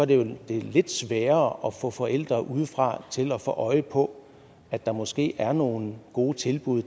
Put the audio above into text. det jo lidt sværere at få forældre udefra til at få øje på at der måske er nogle gode tilbud